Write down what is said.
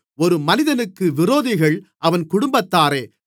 ஒரு மனிதனுக்கு விரோதிகள் அவன் குடும்பத்தாரே